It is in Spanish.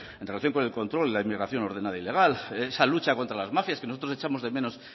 en relación con el control la inmigración ordenada y legal esa lucha contra las mafias que nosotros echamos de menos